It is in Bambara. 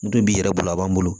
Du b'i yɛrɛ bolo a b'an bolo